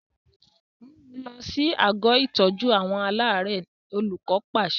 Mú un lọ sí àgọ́ ìtọ́jú aláàárẹ̀! Olùkọ́ pàṣẹ.